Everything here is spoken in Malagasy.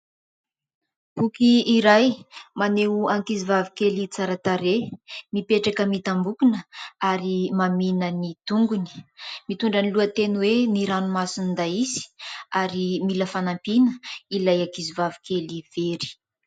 Boky iray, maneho ankizivavy kely tsara tarehy, mipetraka mitambokona ary mamihina ny tongony mitondra ny lohateny hoe : "Ny ranomason'i Daisy" ary mila fanampiana ilay ankizy vavikely very.